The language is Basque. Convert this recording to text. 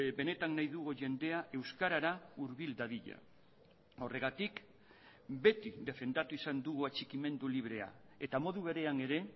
benetan nahi dugu jendea euskarara hurbil dadila horregatik beti defendatu izan dugu atxikimendu librea eta modu berean ere